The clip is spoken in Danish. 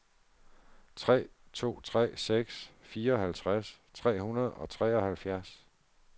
tre to tre seks fireoghalvtreds tre hundrede og treoghalvfjerds